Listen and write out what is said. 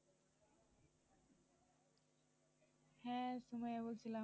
হ্যা সুমাইয়া বলছিলাম।